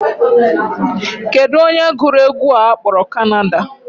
Kedụ onye gụrụ egwu a a kpọrọ Canada?